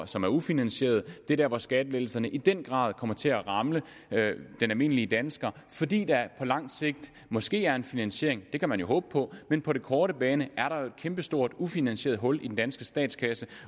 som er ufinansierede det er dér hvor skattelettelserne i den grad kommer til at ramme den almindelige dansker fordi der på lang sigt måske er en finansiering det kan man jo håbe på men på den korte bane er der et kæmpestort ufinansieret hul i den danske statskasse